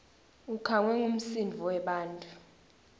ukhangwe ngumsindvo webantfu